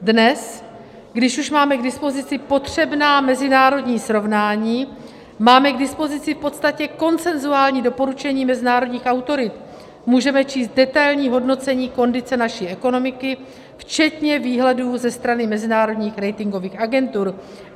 Dnes, když už máme k dispozici potřebná mezinárodní srovnání, máme k dispozici v podstatě konsenzuální doporučení mezinárodních autorit, můžeme číst detailní hodnocení kondice naší ekonomiky včetně výhledů ze strany mezinárodních ratingových agentur.